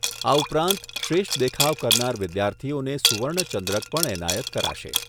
આ ઉપરાંત શ્રેષ્ઠ દેખાવ કરનાર વિદ્યાર્થીઓને સુવર્ણચંદ્રક પણ એનાયત કરાશે.